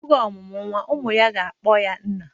Oge ọ mụrụ nwa, ụmụ ya na-akpọ ya nna